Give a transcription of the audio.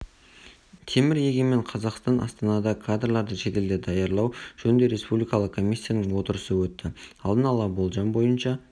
темір егемен қазақстан астанада кадрларды шетелде даярлау жөніндегі республикалық комиссияның отырысы өтті алдын ала болжам бойынша